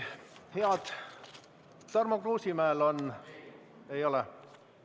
Kas Tarmo Kruusimäel on?